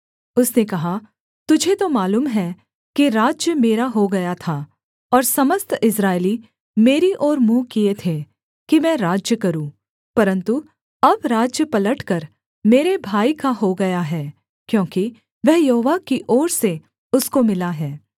उसने कहा तुझे तो मालूम है कि राज्य मेरा हो गया था और समस्त इस्राएली मेरी ओर मुँह किए थे कि मैं राज्य करूँ परन्तु अब राज्य पलटकर मेरे भाई का हो गया है क्योंकि वह यहोवा की ओर से उसको मिला है